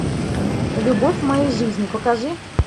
любовь моей жизни покажи